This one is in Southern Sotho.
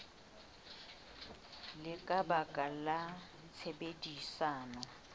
le ka baka la tshebedisano